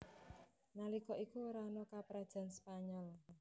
Nalika iku ora ana Kaprajan Spanyol